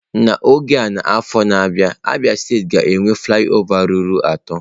N'oge a n'afọ na-abịa Abia steeti ga-enwe flị ọva ruru atọ.